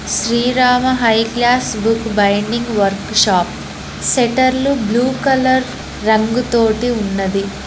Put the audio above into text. Srirama high class book binding workshop షట్టర్లు blue colour రంగు తోటి ఉన్నది.